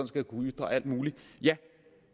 skal kunne ytre alt muligt ja